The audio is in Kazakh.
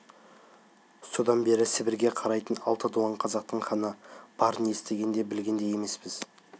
содан бері сібірге қарайтын алты дуан қазақтың ханы барын естіген де білген де емеспіз